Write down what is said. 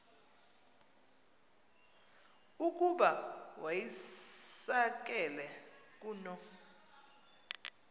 ukuba wayisakele kuno